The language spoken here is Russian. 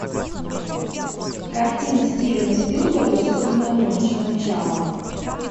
картина стивена спилберга судная ночь начало